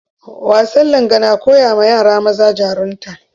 Wasan Langa na koyawa yara maza jarunta